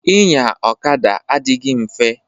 Inya ọkada adịghị mfe.